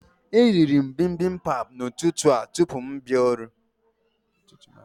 E rịrị m bimbimbap n'ụtụtụ a tupu m abịa ọrụ